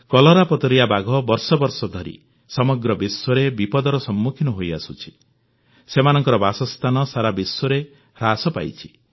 କଲରାପତରିଆ ବାଘ ବର୍ଷ ବର୍ଷ ଧରି ସମଗ୍ର ବିଶ୍ୱରେ ବିପଦର ସମ୍ମୁଖୀନ ହୋଇଆସୁଛି ସେମାନଙ୍କର ବାସସ୍ଥାନ ସାରା ବିଶ୍ୱରେ ହ୍ରାସ ପାଇଛି